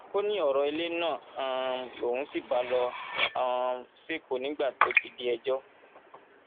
ó ní ọrọ ilé náà um lòun sì bá lọ um sẹkọọ nígbà tó ti di ẹjọ